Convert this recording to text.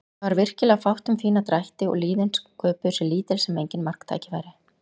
Það var virkilega fátt um fína drætti og liðin sköpuðu sér lítil sem engin marktækifæri.